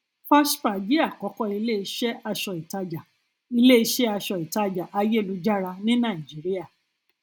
fashpa jẹ àkọkọ iléiṣẹ aṣọ ìtajà iléiṣẹ aṣọ ìtajà ayélujára ní nàìjíríà